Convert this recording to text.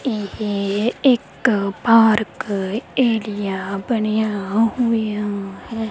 ਇਹ ਇੱਕ park area ਬਣਿਆ ਹੋਇਆ ਹੈ।